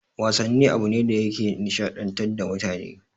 Wasanni abune da yake nishaɗantar da mutane